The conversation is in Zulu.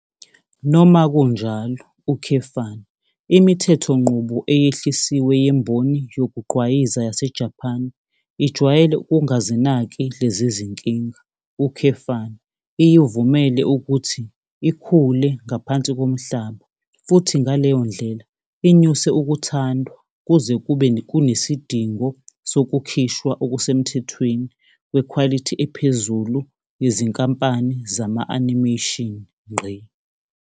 Noma kunjalo, imithethonqubo eyehlisiwe yemboni yokugqwayiza yaseJapan ijwayele ukungazinaki lezi zinkinga, iyivumele ukuthi ikhule ngaphansi komhlaba futhi ngaleyo ndlela inyuse ukuthandwa kuze kube kunesidingo sokukhishwa okusemthethweni kwekhwalithi ephezulu yezinkampani zama-animation.